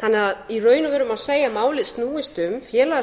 þannig að í raun og veru má segja að málið snúist um